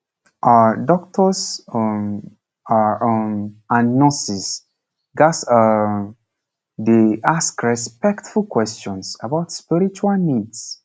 ah doctors um ah um and nurses ghats um dey ask respectful questions about spiritual needs